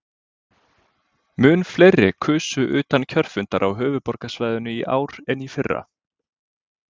Mun fleiri kusu utan kjörfundar á höfuðborgarsvæðinu í ár en í fyrra.